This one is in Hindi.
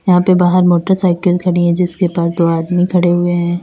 यहां पे बाहर मोटरसाइकिल खड़ी है जिसके पास दो आदमी खड़े हुए हैं।